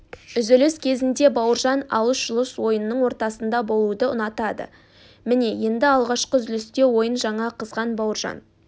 үзіліс кезінде бауыржан алыс-жұлыс ойынның ортасында болуды ұнатады міне енді алғашқы үзілісте ойын жаңа қызған бауыржан